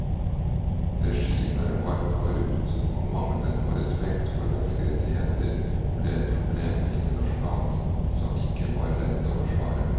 Regimet var korrupt og mangelen på respekt for menneskerettigheter ble et problem internasjonalt som ikke var lett å forsvare.